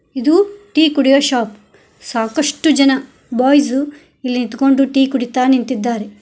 ಇದು ಟೀ ಕುಡಿಯೋ ಶಾಪ್ ಸಾಕಷ್ಟು ಜನ ಬಾಯ್ಸ್ ಇಲ್ಲಿ ನಿಂತ್ಕೊಂಡು ಟೀ ಕುಡಿತಾ ನಿಂತಿದ್ದಾರೆ.